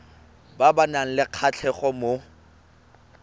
ba nang le kgatlhego mo